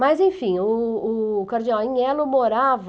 Mas, enfim, o o cardeal Anhelo morava...